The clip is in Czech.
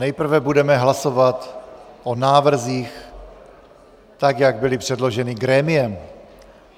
Nejprve budeme hlasovat o návrzích, tak jak byly předloženy grémiem.